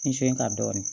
Nson ka dɔɔnin